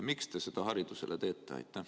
Miks te seda haridusele teete?